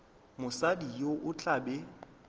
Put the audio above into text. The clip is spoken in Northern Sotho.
mosadi yo o tla be